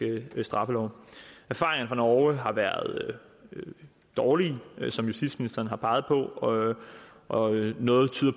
straffelov erfaringerne fra norge har været dårlige som justitsministeren har peget på og og noget tyder